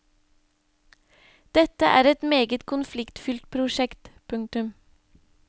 Dette er et meget konfliktfylt prosjekt. punktum